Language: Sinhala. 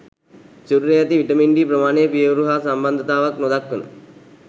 සිරුරේ ඇති විටමින් ඞී ප්‍රමාණය පියයුරු හා සම්බන්ධතාවක් නොදක්වන